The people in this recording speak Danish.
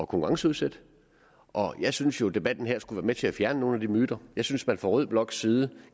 konkurrenceudsætte og jeg synes jo debatten her skulle være med til at fjerne nogle myter jeg synes jeg fra rød bloks side